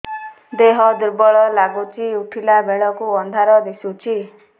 ଦେହ ଦୁର୍ବଳ ଲାଗୁଛି ଉଠିଲା ବେଳକୁ ଅନ୍ଧାର ଦିଶୁଚି